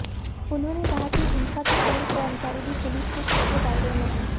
उन्होंने कहा कि हंसा के पूर्व कर्मचारी भी पुलिस के शक के दायरे में हैं